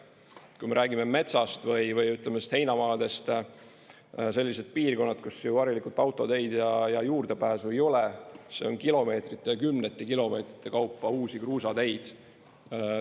Kui me räägime metsast või heinamaadest – sellised piirkonnad, kus harilikult autoteid ja juurdepääsu ei ole –, see on kilomeetrite ja kümnete kilomeetrite kaupa uusi kruusateid.